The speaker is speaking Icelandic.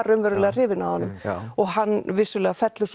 raunverulega hrifin af honum og hann vissulega fellur